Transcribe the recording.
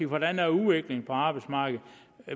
hvordan udviklingen er på arbejdsmarkedet